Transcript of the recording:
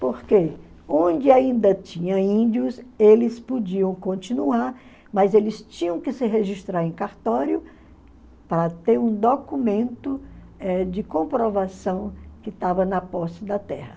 Porque onde ainda tinha índios, eles podiam continuar, mas eles tinham que se registrar em cartório para ter um documento eh de comprovação que estava na posse da terra.